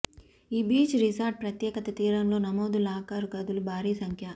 ఈ beach resort ప్రత్యేకత తీరంలో నమోదు లాకర్ గదులు భారీ సంఖ్య